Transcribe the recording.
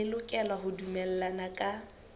le lokela ho dumellana ka